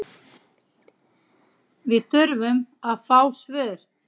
Við þurfum að fá svör